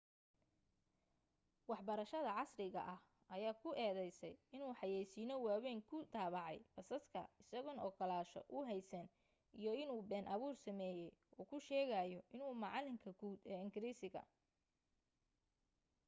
waxbarashada casriga ah ayaa ku eedaysay inuu xayaysiino waawayn ku daabacay basaska isagoon ogolaansho u haysan iyo inuu been abuur sameeyay uu ku sheegayo inuu macalinka guud ee ingiriisiga